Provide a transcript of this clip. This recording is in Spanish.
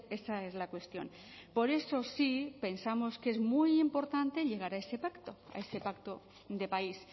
esa es la cuestión por eso sí pensamos que es muy importante llegar a ese pacto a ese pacto de país